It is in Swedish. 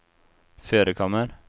förekommer